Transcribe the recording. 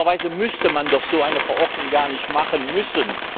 Normalerweise müsste man doch so eine Verordnung gar nicht machen müssen.